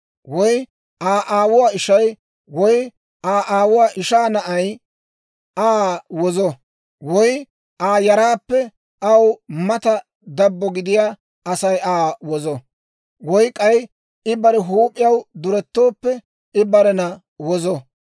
Woy Aa aawuwaa ishay, woy Aa aawuwaa ishaa na'ay Aa wozo; woy Aa yaraappe aw mata dabbo gidiyaa Asay Aa wozo; woy k'ay I bare huup'iyaw durettooppe I barena wozo.